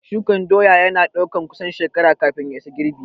Shukan doya ya na ɗaukan kusan shekara kafin ya isa girbi